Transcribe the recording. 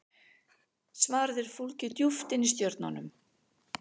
svarið er fólgið djúpt inni í stjörnunum